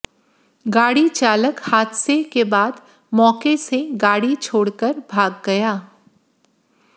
गाड़ी चालक हादसे के बाद मौके से गाड़ी छोड़कर भाग गया